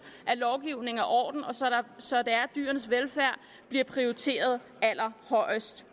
at lovgivningen er ordentlig så dyrenes velfærd bliver prioriteret allerhøjest